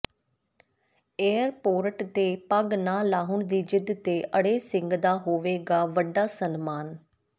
airport ਤੇ ਪੱਗ ਨਾ ਲਾਹੁਣ ਦੀ ਜਿੱਦ ਤੇ ਅੜੇ ਸਿੰਘ ਦਾ ਹੋਵੇਗਾ ਵੱਡਾ ਸਨਮਾਨ